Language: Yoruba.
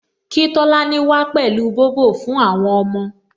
Kí Tolani wá pẹ̀lú Bobo fún àwọn ọmọ